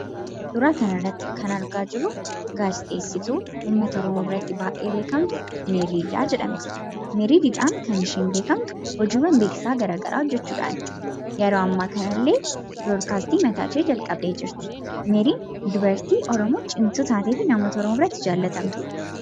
Suuraa kanarratti kan argaa jirru gaazexeessituu uummata Oromoo biratti baay'ee beekamtu Meerii Didhaa jedhamti. Meerii Didhaan kan isheen beekamtu hojiiwwan beeksisaa garaagaraa hojjachuudhaani. Yeroo ammaa kanallee tamsaasa mataashee calqabdee jirti. Meeriin dubartii Oromoo cimtuu taatee fi uummata oromoo biratti jaallatamtuu taatedha.